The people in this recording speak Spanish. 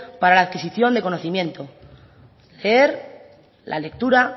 para la adquisición de conocimientos leer la lectura